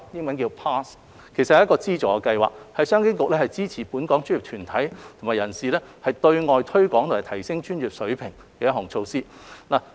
這其實是一個資助計劃，是商經局支持本港專業團體和人士對外推廣和提升專業水平的一項措施。